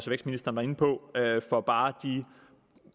vækstministeren var inde på for bare de